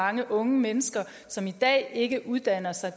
mange unge mennesker som i dag ikke uddanner sig